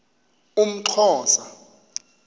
umxhosa